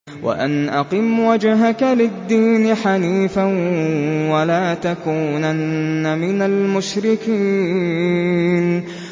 وَأَنْ أَقِمْ وَجْهَكَ لِلدِّينِ حَنِيفًا وَلَا تَكُونَنَّ مِنَ الْمُشْرِكِينَ